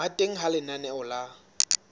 ba teng ha lenaneo la